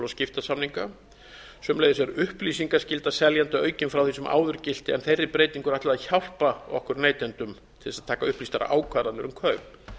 skiptasamninga sömuleiðis er upplýsingaskylda seljanda aukin frá því sem áður gilti en þeirri breytingu er ætlað að hjálpa okkur neytendum til þess að taka upplýstar ákvarðanir um kaup